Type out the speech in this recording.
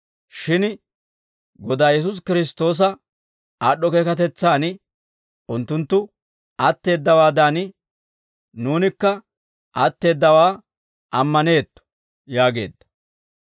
Shin Godaa Yesuusi Kiristtoosa aad'd'o keekatetsaan unttunttu atteeddawaadan, nuunikka atteeddawaa ammaneetto» yaageedda.